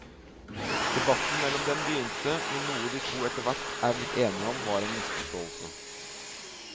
Debatten mellom dem begynte med noe de to etterhvert er blitt enige om var en misforståelse.